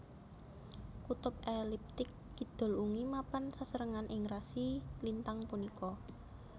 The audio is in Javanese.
Kutub eliptik kidul ungi mapan sesarengan ing rasi lintang punika